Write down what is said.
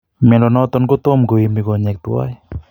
Miando natan kotamko ime konyek twan